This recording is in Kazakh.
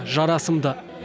жарасымды